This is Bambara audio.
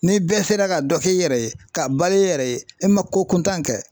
Ni bɛɛ sera ka dɔ k'i yɛrɛ ye k'a balo i yɛrɛ ye i ma ko kuntan kɛ